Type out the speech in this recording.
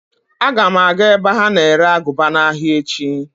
Aga m aga ebe ha na-ere aguba n'ahịa echi.